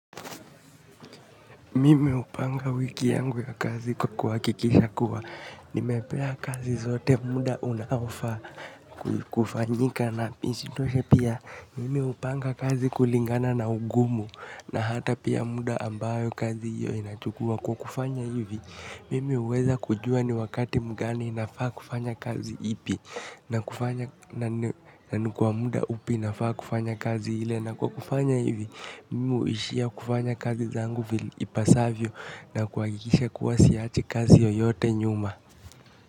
Mimi upanga wiki yangu ya kazi kwa kwakikisha kuwa. Nimepea kazi zote muda unaofaa kufanyika na isitoshe pia. Mimi hupanga kazi kulingana na ugumu na hata pia muda ambayo kazi hio inachukua. Kwa kufanya hivi, mimi huweza kujua ni wakati mgani nafaa kufanya kazi ipi. Na kufanya, na ni kwa muda upi nafaa kufanya kazi hile. Na kwa kufanya hivi, mimi huishia kufanya kazi zangu vile ipasavyo na kuhakikisha kuwa siachi kazi yoyote nyuma.